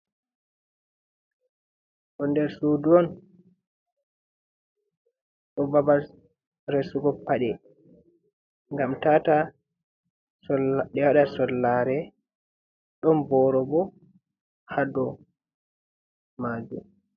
Ɗoo der suudu on, don babal resugo paɗe gam tata ɗe wa ɗa sollare, ɗon borgo ha dou majuum.